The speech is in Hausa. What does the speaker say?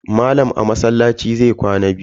Malam a masallaci zai kwana yau.